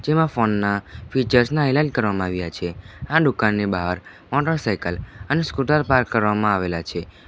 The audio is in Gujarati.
જેમાં ફોન ના ફીચર્સ ના એલાન કરવામાં આવ્યા છે આ દુકાનની બાર મોટરસાયકલ અને સ્કૂટર પાર્ક કરવામાં આવેલા છે.